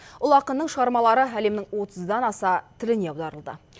ұлы ақынның шығармалары әлемнің отыздан аса тіліне аударылды